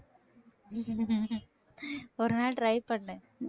ஒரு நாள் try பண்ணு